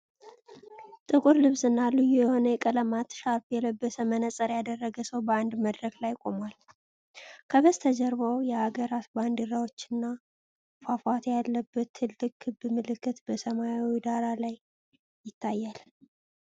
ጥቁር ልብስና ልዩ የሆነ የቀለማት ሻርፕ የለበሰ፣ መነጽር ያደረገ ሰው በአንድ መድረክ ላይ ቆሟል። ከበስተጀርባው የአገራት ባንዲራዎችና ፏፏቴ ያለበት ትልቅ ክብ ምልክት በሰማያዊ ዳራ ላይ ይታያል።